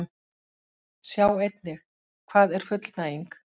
Sjá einnig: Hvað er fullnæging?